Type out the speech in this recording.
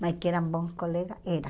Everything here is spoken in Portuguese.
Mas que eram bons colegas, eram.